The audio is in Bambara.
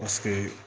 Paseke